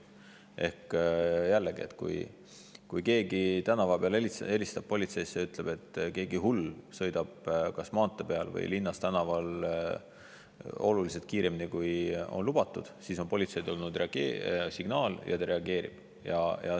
Ehk jällegi, et kui keegi tänava peal helistab politseisse ja ütleb, et mingi hull sõidab kas maantee peal või linnas tänaval oluliselt kiiremini, kui on lubatud, siis on politseile tulnud signaal ja ta reageerib.